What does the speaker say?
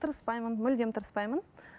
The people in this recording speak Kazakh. тырыспаймын мүлдем тырыспаймын